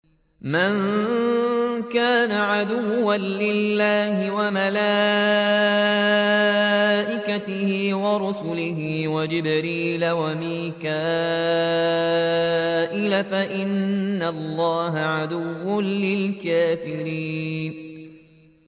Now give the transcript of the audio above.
مَن كَانَ عَدُوًّا لِّلَّهِ وَمَلَائِكَتِهِ وَرُسُلِهِ وَجِبْرِيلَ وَمِيكَالَ فَإِنَّ اللَّهَ عَدُوٌّ لِّلْكَافِرِينَ